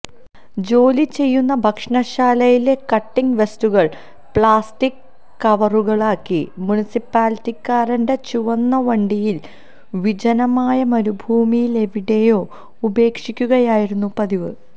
ജോലി ചെയ്യുന്ന ഭക്ഷണശാലയിലെ കട്ടിംഗ് വേസ്റ്റുകള് പ്ലാസ്റ്റിക് കവറുകളിലാക്കി മുനിസിപ്പാലിറ്റിക്കാരന്റെ ചുവന്ന വണ്ടിയില് വിജനമായ മരുഭൂമിയിലെവിടെയോ ഉപേക്ഷിക്കുകയായിരുന്നു പതിവ്